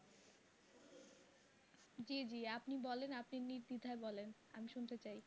জি জি আপনি বলেন আপনি নির্দ্বিধায় বলেন আমি শুনতে চাই।